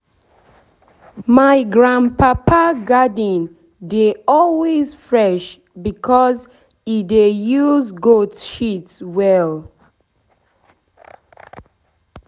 my grandpapa garden dey always fresh because e dey use goat shit well.